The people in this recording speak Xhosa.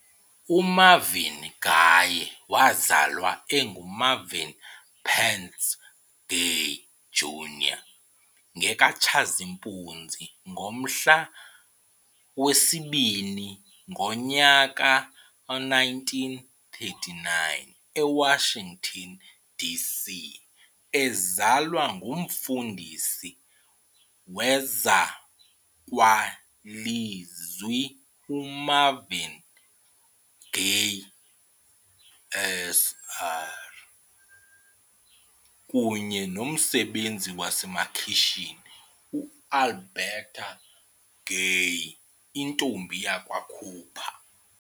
UMarvin Gaye wazalwa enguMarvin Pentz Gay, Jr ngekaTshazimpuzi, ngomhla wesi-2, ngo1939 eWashington, DC, ezalwa ngumfundisi wezakwalizwi uMarvin Gay, Sr, kunye nomsebenzi wasemakhitshini uAlberta Gay intombi yakwa Cooper.